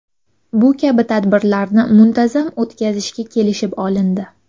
Bu kabi tadbirlarni muntazam o‘tkazishga kelishib olindi.